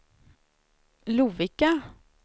Lovikka